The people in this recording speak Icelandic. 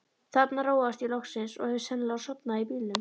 Þarna róaðist ég loksins og hef sennilega sofnað í bílnum.